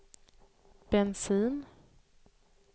bensin